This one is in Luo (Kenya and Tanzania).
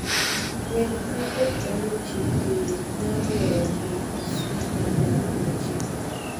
Wek ma ok oluu chik tiir nyaalo weyo KEC manyap ne chik.